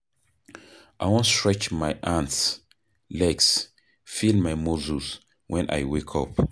I wan stretch my hands, legs, feel my muscles wen I wake up.